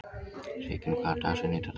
Sigyn, hver er dagsetningin í dag?